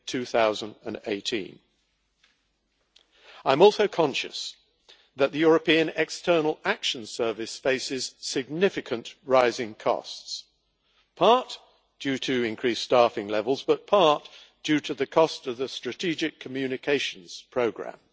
2018. I am also conscious that the European External Action Service faces significant rising costs in part due to increased staffing levels, but also partly due to the cost of the strategic communications programme.